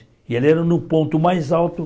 E ele era no ponto mais alto